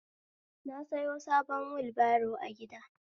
Na sayo sabon wulbaro a gida